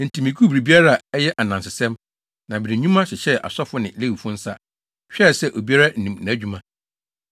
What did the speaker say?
Enti miguu biribiara a ɛyɛ ananasɛm, na mede nnwuma hyehyɛɛ asɔfo ne Lewifo nsa, hwɛɛ sɛ obiara nim nʼadwuma.